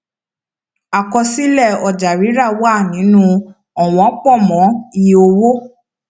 àkọsílẹ ọjàrírà wà nínú ọwọn pọ mọ iye owó